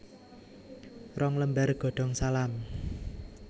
Rong lembar godong salam